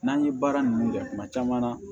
N'an ye baara nunnu kɛ kuma caman na